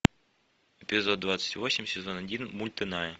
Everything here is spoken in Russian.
эпизод двадцать восемь сезон один мульт иная